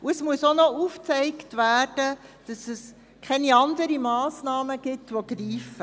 Es muss auch noch aufgezeigt werden, dass es keine anderen Massnahmen gibt, die greifen.